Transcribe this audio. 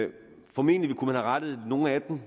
formentlig kunne rettet nogle af dem